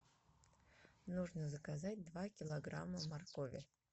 нужно заказать два килограмма моркови